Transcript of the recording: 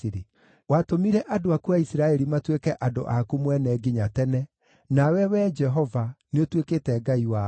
Watũmire andũ aku a Isiraeli matuĩke andũ aku mwene nginya tene, nawe, Wee Jehova, nĩũtuĩkĩte Ngai wao.